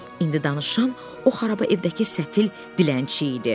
İndi danışan o xaraba evdəki səfil dilənçi idi.